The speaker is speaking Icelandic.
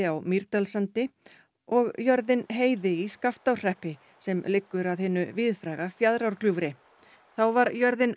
á Mýrdalssandi og jörðin Heiði í Skaftárhreppi sem liggur að hinu víðfræga Fjaðrárgljúfri þá var jörðin